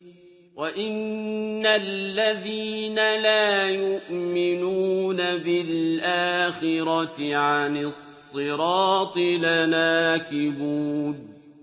وَإِنَّ الَّذِينَ لَا يُؤْمِنُونَ بِالْآخِرَةِ عَنِ الصِّرَاطِ لَنَاكِبُونَ